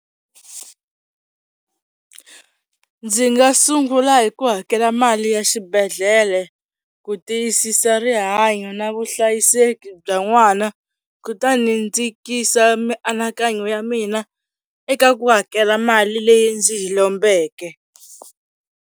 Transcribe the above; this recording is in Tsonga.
Ndzi nga sungula hi ku hakela mali ya xibedhlele ku tiyisisa rihanyo na vuhlayiseki bya n'wana kutani ni ndzikisa mianakanyo ya mina eka ku hakela mali leyi ndzi yi lombeke.